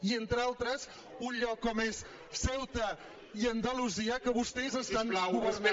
i entre altres un lloc com és ceuta i andalusia que vostès estan governant